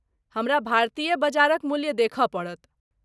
हमरा भारतीय बजारक मूल्य देखय पड़त।